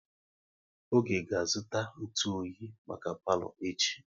Oge ga azụta ntụ oyi maka palo echi